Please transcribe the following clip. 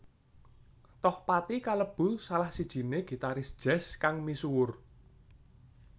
Tohpati kalebu salah sijiné gitaris jazz kang misuwur